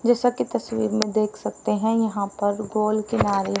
जैसा की तस्वीर में देख सकते हैं यहां पर गोल किनारे--